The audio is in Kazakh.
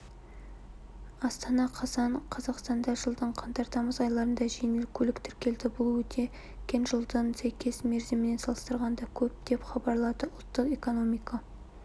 астана қазан қазақстанда жылдың қаңтар-тамыз айларында жеңіл көлік тіркелді бұл өткен жылдың сәйкес мерзімімен салыстырғанда көп деп хабарлады ұлттық экономика